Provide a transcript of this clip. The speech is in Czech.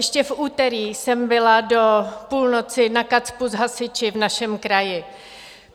Ještě v úterý jsem byla do půlnoci na KACPU s hasiči v našem kraji.